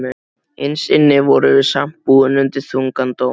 Innst inni vorum við samt búin undir þungan dóm.